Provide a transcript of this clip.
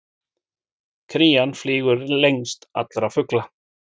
Krían flýgur lengst allra fugla!